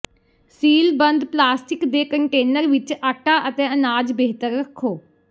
ਸੀਲਬੰਦ plastic ਦੇ container ਵਿੱਚ ਆਟਾ ਅਤੇ ਅਨਾਜ ਬਿਹਤਰ ਰੱਖੋ